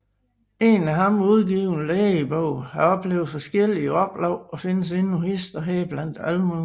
En af ham udgiven Lægebog har oplevet forskjellige Oplag og findes endnu hist og her blandt Almuen